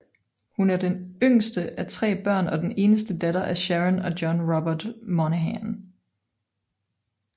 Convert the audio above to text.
Hun er det yngste af tre børn og den eneste datter af Sharon og John Robert Monaghan